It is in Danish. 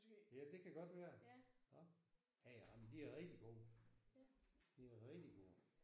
Ja det kan godt være nåh. Ja ja jamen de er rigtig gode. De er rigtig gode